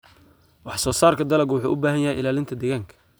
Wax soo saarka dalaggu wuxuu u baahan yahay ilaalinta deegaanka.